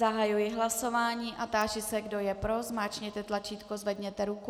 Zahajuji hlasování a táži se, kdo je pro, zmáčkněte tlačítko, zvedněte ruku.